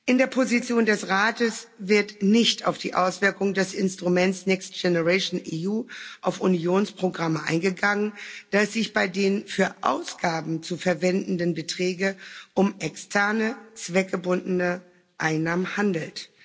In der Position des Rates wird nicht auf die Auswirkungen des Instruments Next Generation EU auf Unionsprogramme eingegangen, da es sich bei den für Ausgaben zu verwendenden Beträge um externe, zweckgebundene Einnahmen handelt.